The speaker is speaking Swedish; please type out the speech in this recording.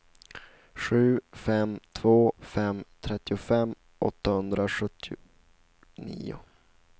sju fem två fem trettiofem åttahundrasjuttionio